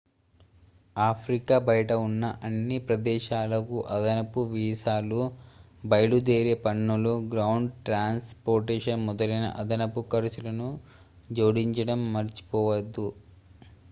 Africa బయట ఉన్న అన్ని ప్రదేశాలకు అదనపు వీసాలు బయలుదేరే పన్నులు గ్రౌండ్ ట్రాన్స్ పోర్టేషన్ మొదలైన అదనపు ఖర్చులను జోడించడం మర్చిపోవద్దు